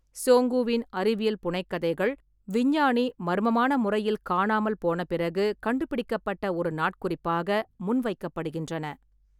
சோங்குவின் அறிவியல் புனைகதைக் கதைகள் விஞ்ஞானி மர்மமான முறையில் காணாமல் போன பிறகு கண்டுபிடிக்கப்பட்ட ஒரு நாட்குறிப்பாக முன்வைக்கப்படுகின்றன.